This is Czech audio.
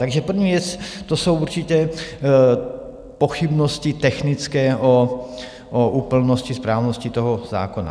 Takže první věc, to jsou určitě pochybnosti technické o úplnosti, správnosti toho zákona.